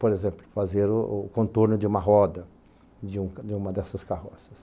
Por exemplo, fazer o o contorno de uma roda, de um de uma dessas carroças.